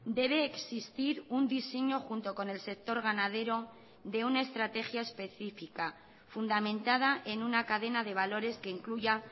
debe existir un diseño junto con el sector ganadero de una estrategia específica fundamentada en una cadena de valores que incluya